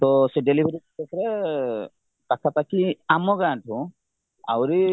ତ ସେ delivery case ରେ ପାଖା ପାଖି ଆମ ଗାଁଠୁ ଆହୁରି